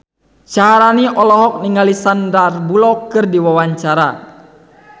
Syaharani olohok ningali Sandar Bullock keur diwawancara